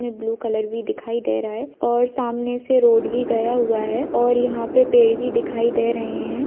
ये blue colour भी दिखाई दे रहा है और सामने से रोड भी गया हुआ है और यहा पे पेड़ भी दिखाई दे रहे है।